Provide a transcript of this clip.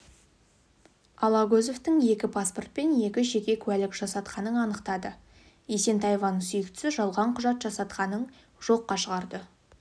алагөзовтың екі паспорт пен екі жеке куәлік жасатқанын анықтады есентаеваның сүйіктісі жалған құжат жасатқанын жоққа шығарды